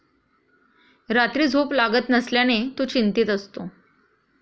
रात्री झोप लागत नसल्याने तो चिंतीत असतो.